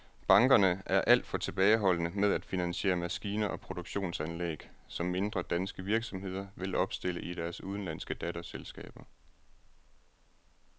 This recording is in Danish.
Bankerne er alt for tilbageholdende med at finansiere maskiner og produktionsanlæg, som mindre danske virksomheder vil opstille i deres udenlandske datterselskaber.